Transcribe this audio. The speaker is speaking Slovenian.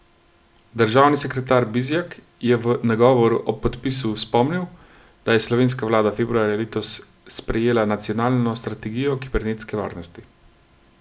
Državni sekretar Bizjak je v nagovoru ob podpisu spomnil, da je slovenska vlada februarja letos sprejela nacionalno strategijo kibernetske varnosti.